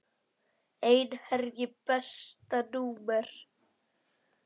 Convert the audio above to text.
Einherji Besta númer?